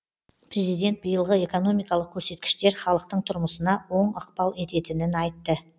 президент биылғы экономикалық көрсеткіштер халықтың тұрмысына оң ықпал ететінін айтты